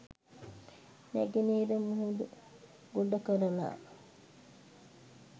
නැගෙනහිර මුහුද ගොඩ කරලා